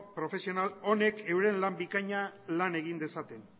profesional honek euren lan bikaina lan egin dezaten